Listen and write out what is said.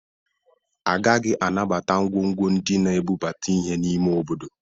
Agaghị anabata ngwongwo ndị na-ebubata ihe n'ime obodo